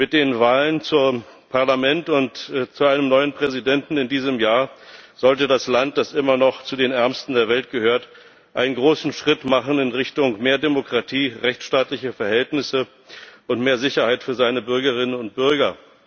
Mit den Wahlen zum Parlament und zu einem neuen Präsidenten in diesem Jahr sollte das Land, das immer noch zu den ärmsten der Welt gehört, einen großen Schritt machen in Richtung mehr Demokratie, rechtsstaatliche Verhältnisse und mehr Sicherheit für seine Bürgerinnen und Bürger.